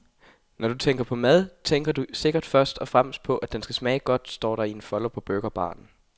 Når du tænker på mad, tænker du sikkert først og fremmest på, at den skal smage godt, står der i en folder på burgerbaren.